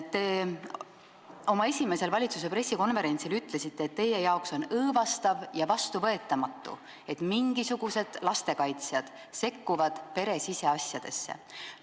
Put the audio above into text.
Te oma esimesel valitsuse pressikonverentsil ütlesite, et teie arvates on õõvastav ja vastuvõetamatu, et mingisugused lastekaitsjad sekkuvad pere siseasjadesse.